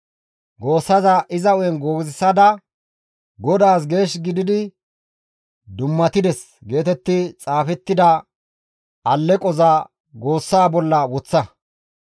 Goossaza iza hu7en goozisada, ‹GODAAS geesh gidi dummatides› geetetti xaafettida alleqoza goossa bolla woththa.